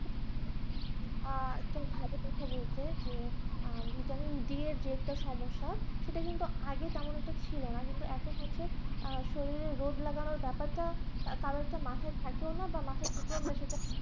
আহ একটা ভালো কথা বলছে যে যে Vitamin d এর যে একটা সমস্যা সেটা কিন্তু আগে তেমন একটা ছিল না কিন্তু এখন হচ্ছে শরীরের রোদ লাগানোর ব্যাপার টা তার কারণ একটা মাথায় থাকেও নাবা মাথায় থেকে ও